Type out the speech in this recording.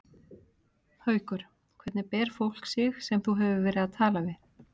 Haukur: Hvernig ber fólk sig sem þú hefur verið að tala við?